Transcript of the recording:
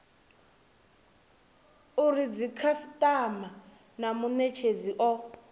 uri dzikhasitama na munetshedzi o